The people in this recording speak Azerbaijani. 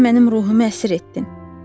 Sən mənim ruhumu əsir etdin.